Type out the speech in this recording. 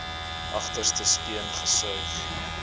agterste speen gesuig